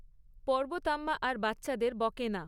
পর্বতাম্মা আর বাচ্চাদের বকে না।